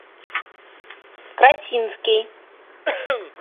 красинский